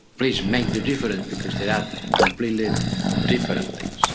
Turkey. Please make the difference, because these are completely different